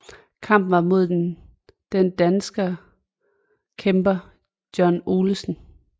Kampen var mod den dansker kæmper John Olesen